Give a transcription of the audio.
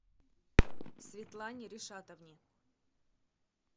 светлане ришатовне